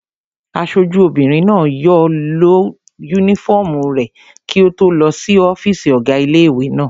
Aṣojú obìnrin náà yóò lọ yúnífọ́ọ̀mù rẹ̀ kí ó tó lọ sí ọ́fìsì ọ̀gá ilé-ìwé náà